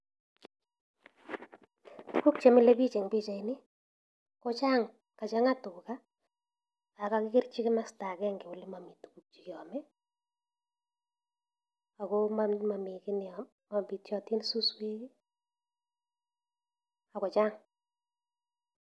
Tuguk chemile biik en pichainj, kochang, kachangaa tugaa ak kakikerchi komosto agenge olemomi amitwogiik.,ako mobityootin suswek i,akochang